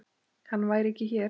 Hann væri ekki hér.